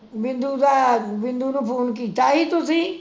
ਬਿੰਦੂ ਦਾ, ਬਿੰਦੂ ਨੂੰ ਫੋਨ ਕੀਤਾ ਸੀ ਤੁਸੀਂ?